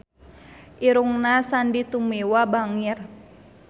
Irungna Sandy Tumiwa bangir